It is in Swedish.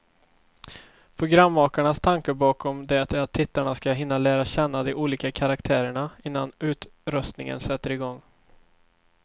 Programmakarnas tanke bakom det är att tittarna ska hinna lära känna de olika karaktärerna, innan utröstningen sätter igång.